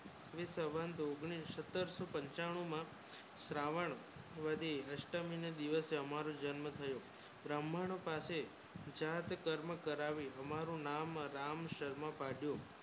એ સન ઉંગ્નીઝ સત્તર સો પંચાણું માં શ્રાવણ વધે અષ્ટમીને દિવસ હમારું જન્મ થયો